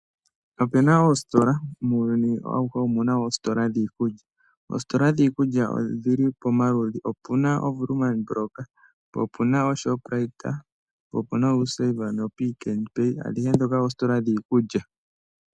Opu na oositola , muuyuni auhe omu na oositola dhiikulya. Oositola dhiikulya odhi li pomaludhi. Opu na oWoerman block, po opu na Shoprite, opuna U Save no Pick 'n Pay, adhihe ndhoka oositola dhiikulya.